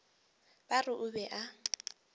ba re o be a